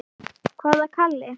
Hvaða Kalli?